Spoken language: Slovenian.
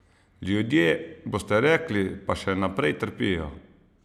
Ljudje, boste rekli, pa še naprej trpijo?